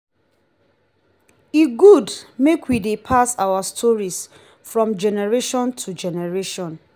e good make we dey pass our stories from generation to generation.